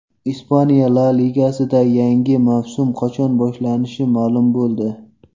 Ispaniya La Ligasida yangi mavsum qachon boshlanishi ma’lum bo‘ldi !